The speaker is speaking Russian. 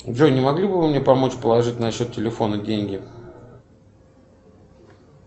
джой не могли бы вы мне помочь положить на счет телефона деньги